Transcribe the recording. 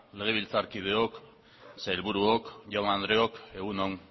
legebiltzarkideok sailburuok jaun andreok egun on